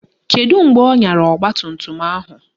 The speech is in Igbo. Kedụ mgbe ọ nyara ọgbatumtum ahụ?